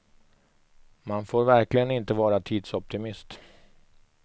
Man får verkligen inte vara tidsoptimist.